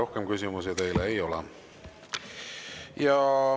Rohkem küsimusi teile ei ole.